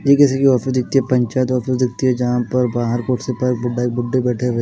ये किसी की ऑफिस दिखती है पंचायत ऑफिस दिखती है जहां पर बाहर कुर्सी पर बुड्ढे बैठे हुए--